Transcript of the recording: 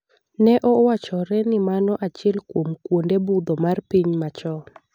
Ne owachore ni mano achiel kuom kwonde budho mar piny machon.